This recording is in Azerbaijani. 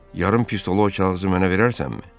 yarım pistola o kağızı mənə verərsənmi?